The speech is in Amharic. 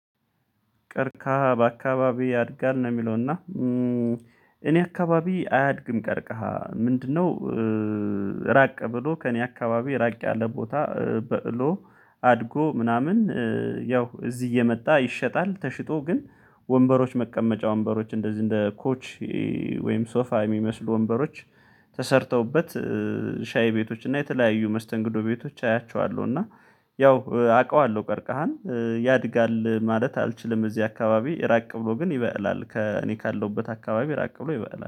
"ቀርከሃ በአካባቢ ያድጋል?" ነው የሚለው፤ እና እኔ አካባቢ አያድግም ቀርከሃ ምንድነው ራቅ ብሎ ከእኔ አካባቢ ራቅ ያለ ቦታ በቅሎ፣ አድጎ፣ ምናምን ያው እዚህ እየመጣ ይሸጣል። ተሽጦ ግን ወንበሮች መቀመጫ ወንበሮች እንደዚህ እንደ ኮች ወይም ሶፋ የሚመስሉ ወንበሮች ተሰርተውበት ሻይ ቤቶች እና የተለያዩ መስተንግዶ ቤቶች አያቸዋለሁ፤ እና ያው አውቀዋለሁ ቀርቀሃን። ያድጋል ማለት አልችልም እዚህ አካባቢ ራቅ ብሎ ግን ይበቅላል። ከ እኔ ካለሁበት አካባቢ ራቅ ብሎ ይበቅላል።